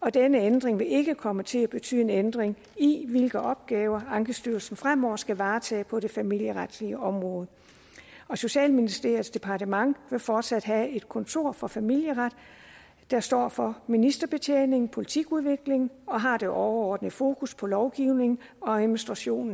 og denne ændring vil ikke komme til at betyde en ændring i hvilke opgaver ankestyrelsen fremover skal varetage på det familieretlige område og socialministeriets departement vil fortsat have et kontor for familieret der står for ministerbetjening og politikudvikling og som har det overordnede fokus på lovgivningen og administrationen